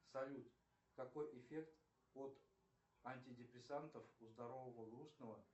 салют какой эффект от антидепрессантов у здорового грустного